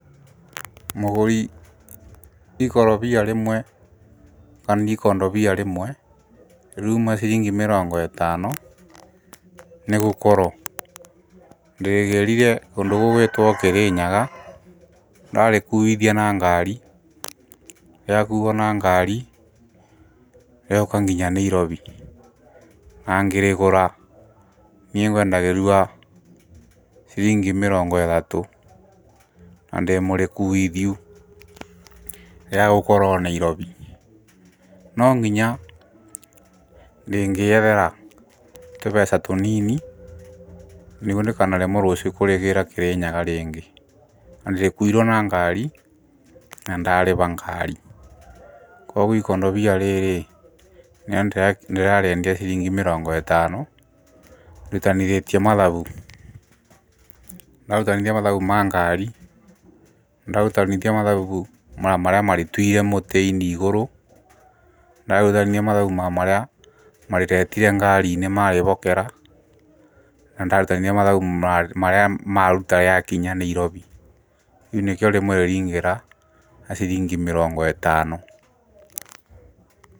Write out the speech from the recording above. Mũgũri ikorobia rĩmwe kana ikondobia rĩmwe rĩuma ciringi mĩrongo ĩtano nĩ gũkorwo ndĩrĩgĩrire kũndũ gũgwĩtwo Kĩrĩnyaga ndarĩkuithia na ngari, rĩakuo na ngari rĩoka nginya Nairobi. Na ngĩrĩgũra niĩ ngwendagĩrio ciringi mĩrongo ĩtatũ na ndĩmũrĩkuithiu rĩagũkora o Nairobi. No nginya rĩngĩyethera tũbeca tũnini nĩguo ndikanaremwo rũciũ kũrĩgĩra Kĩrĩnyaga rĩngĩ, na nĩrĩkuirwo na ngari na ndarĩba ngari. Koguo ikondabia rĩrĩ ndĩrariendia ciringi mĩrongo ĩtano ndutanithĩtie mathabu, ndarutanithia mathabu ma ngari ndarutanithia mathabu marĩa marĩtuire mũtĩ-inĩ igũrũ, ndarutithania mathabu ma marĩa marĩretire ngari-inĩ marĩbokera na ndarutithania mathabu marĩa maruta rĩakinya Nairobi, rĩu nĩkĩo rĩmwe ringĩra na ciringi mĩrongo ĩtano.